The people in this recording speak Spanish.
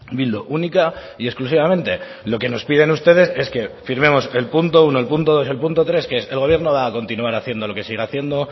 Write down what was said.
bildu única y exclusivamente lo que nos piden ustedes es que firmemos el punto uno el punto dos el punto tres que es el gobierno va a continuar haciendo lo que sigue haciendo